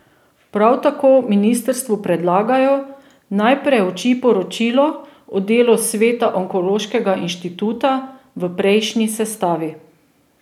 Prav tako ministrstvu predlagajo, naj preuči poročilo o delu sveta onkološkega inštituta v prejšnji sestavi.